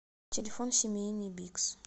телефон семейный бигс